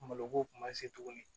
Malo ko kun ma se tuguni